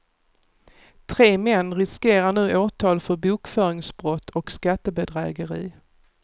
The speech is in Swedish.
Tre män riskerar nu åtal för bokföringsbrott och skattebedrägeri.